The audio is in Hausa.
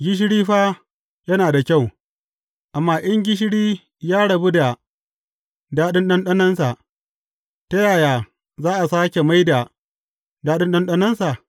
Gishiri fa yana da kyau, amma in gishiri ya rabu da daɗin ɗanɗanonsa, ta yaya za a sāke mai da daɗin ɗanɗanonsa?